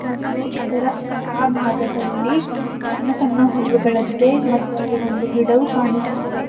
ಮತ್ತು ಅದರ ಆ ಭಾಗದಲ್ಲಿ ಸಣ್ಣ ಸಣ್ಣ ಹುಲ್ಲು ಬೆಳೆದಿದೆ ಮತ್ತು ಅಲ್ಲಿ ಒಂದು ಗಿಡವು ಕಾಣಿಸುತ್ತಿದೆ.